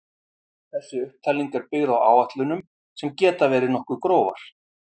þessi upptalning er byggð á áætlunum sem geta verið nokkuð grófar